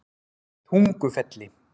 Tungufelli